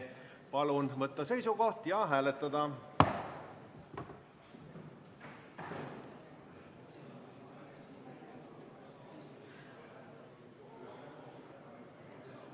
Palun võtta seisukoht ja hääletada!